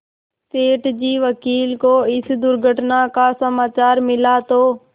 सेठ जी वकील को इस दुर्घटना का समाचार मिला तो